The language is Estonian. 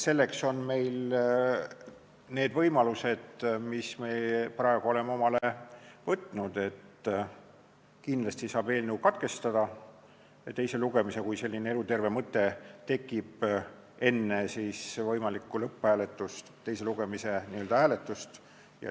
Selleks on meil need võimalused, mis me praegu oleme omale loonud, et kindlasti saab eelnõu teise lugemise katkestada, kui selline eluterve mõte tekib enne võimalikku teise lugemise hääletust.